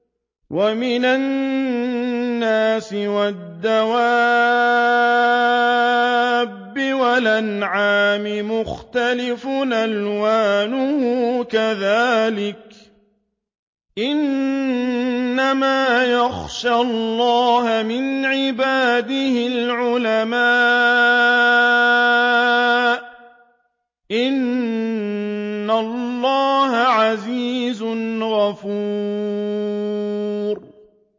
وَمِنَ النَّاسِ وَالدَّوَابِّ وَالْأَنْعَامِ مُخْتَلِفٌ أَلْوَانُهُ كَذَٰلِكَ ۗ إِنَّمَا يَخْشَى اللَّهَ مِنْ عِبَادِهِ الْعُلَمَاءُ ۗ إِنَّ اللَّهَ عَزِيزٌ غَفُورٌ